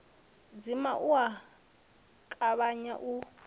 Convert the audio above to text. dzima u a tavhanya u